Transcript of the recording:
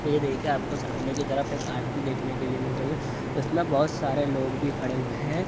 यह देखिए आप को सामने की तरफ एक आरती देखने को मिल रही है उसमे बहुत सारे लोग भी खड़े हुए है।